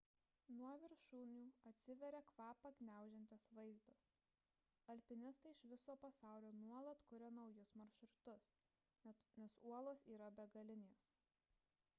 nuo viršūnių atsiveria kvapą gniaužiantis vaizdas alpinistai iš viso pasaulio nuolat kuria naujus maršrutus nes uolos yra begalinės